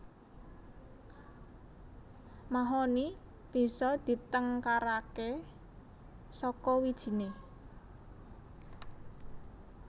Mahoni bisa ditengkaraké saka wijiné